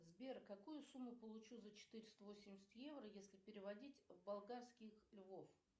сбер какую сумму получу за четыреста восемьдесят евро если переводить в болгарских львов